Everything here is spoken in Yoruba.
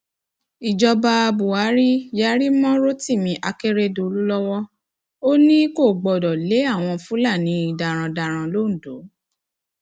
ìjọba buhari yarí mọ rotimi akérèdọlù lọwọ ò ní ò ní kò gbọdọ lé àwọn fúlàní darandaran londo